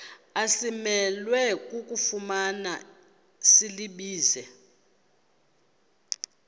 asimelwe kufumana silibize